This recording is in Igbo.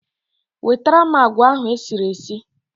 Wetara m agwa ahụ esiri esi